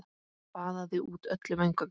Baðaði út öllum öngum.